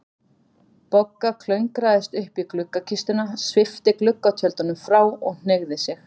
Bogga klöngraðist upp í gluggakistuna, svipti gluggatjöldunum frá og hneigði sig.